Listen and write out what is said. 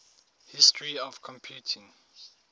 history of computing